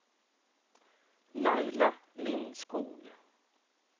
Laila Lindskog